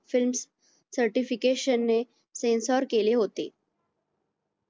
certification ने sensor केले होते